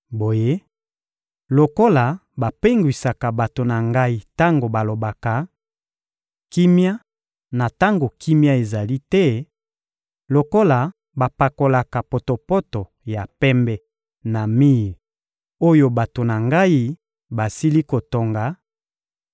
Boye, lokola bapengwisaka bato na Ngai tango balobaka: ‘Kimia,’ na tango kimia ezali te; lokola bapakolaka potopoto ya pembe na mir oyo bato na Ngai basili kotonga,